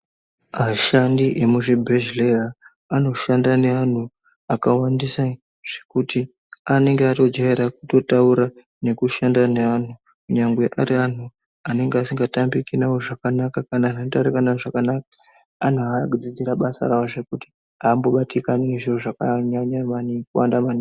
Ashandi emuzvibhedhleya anoshanda nevantu akawandisa zvekuti anenga atojaira kutotaura nekushanda neantu. Nyangwe ari antu anenge asingatambiki navo zvakanaka kana antu anotaurika navo zvakanaka. Antu akadzidzira basa ravo zvekuti hambobatikani nezviro zvakanyanya kuwanda maningi.